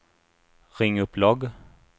ring upp logg